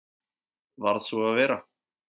Varð svo að vera.